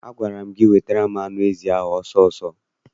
Agwara m gị wetara m anụ ezi ahụ ọsọ ọsọ!